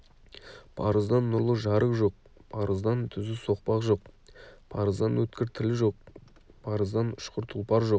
парыздан нұрлы жарық жоқ парыздан түзу соқпақ жоқ парыздан өткір тіл жоқ парыздан ұшқыр тұлпар жоқ